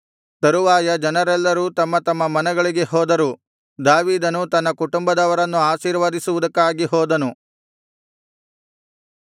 ತರುವಾಯ ಜನರೆಲ್ಲರೂ ತಮ್ಮ ತಮ್ಮ ಮನೆಗಳಿಗೆ ಹೋದರು ದಾವೀದನು ತನ್ನ ಕುಟುಂಬದವರನ್ನು ಆಶೀರ್ವದಿಸುವುದಕ್ಕಾಗಿ ಹೋದನು